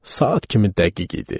Saat kimi dəqiq idi.